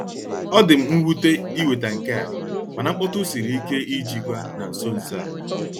Ọ dị m nwute iweta nke a, mana mkpọtụ siri ike ijikwa na nso nso a.